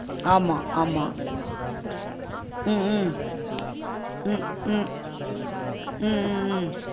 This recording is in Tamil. ஆமா ஆமா உம் உம் ஹம் ஹம் உம் உம் உம்